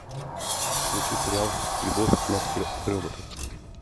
включи сериал любовь смерть и роботы